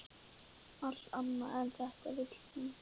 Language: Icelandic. Allt annað en þetta vill hún.